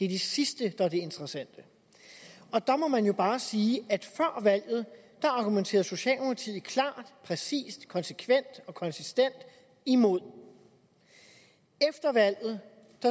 det sidste der er det interessante der må man jo bare sige at før valget argumenterede socialdemokratiet klart præcist konsekvent og konsistent imod efter valget